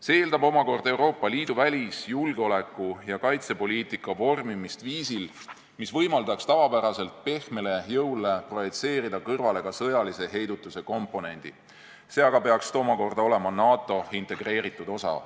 See eeldab omakorda Euroopa Liidu välis-, julgeoleku- ja kaitsepoliitika vormimist viisil, mis võimaldaks tavapärasele pehmele jõule projitseerida kõrvale ka sõjalise heidutuse komponendi, see aga peaks omakorda olema NATO integreeritud osa.